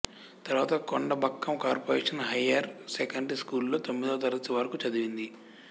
తరువాత Kodambakkam corporation higher secondary స్కూల్లో తొమ్మిదో తరగతి వరకు చదివింది